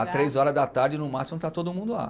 Às três horas da tarde, no máximo, está todo mundo lá.